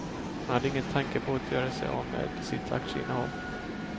Hon hade ingen tanke på att göra sig av med sitt aktieinnehav.